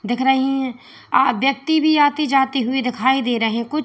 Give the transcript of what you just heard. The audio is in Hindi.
दिख रही है व्यक्ति भी आते जाते हुए दिखाई दे रहे हैं कुछ।